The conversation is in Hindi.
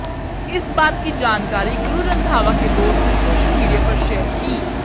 इस बात की जानकारी गुरु रंधावा के दोस्त ने सोशल मीडिया पर शेयर की